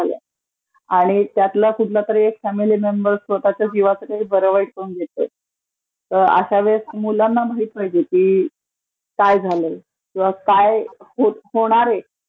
चालू आहेत तर त्यातला एखादा फॅमिली मेंमर जीवाचं काही बरं वाईट करून घेतोय तर अश्यावेळीसं मुलांना माहित पाहिजे की काय झालयं, किंवा काय होणारे